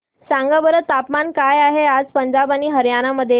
सांगा बरं तापमान काय आहे आज पंजाब आणि हरयाणा मध्ये